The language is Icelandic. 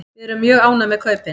Við erum mjög ánægð með kaupin.